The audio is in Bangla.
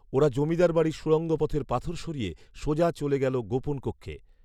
ওরা জমিদার বাড়ির সুড়ঙ্গ পথের পাথর সরিয়ে সোজা চলে গেলো গোপন কক্ষে